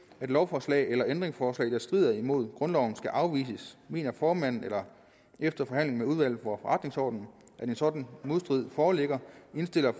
lovforslag eller ændringsforslag der strider mod grundloven skal afvises mener formanden efter forhandling med udvalget for forretningsordenen at en sådan modstrid foreligger indstiller